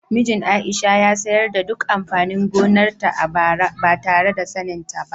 Mijin Aisha ya sayar da duk amfanin gonarta a bara ba tare da saninta ba.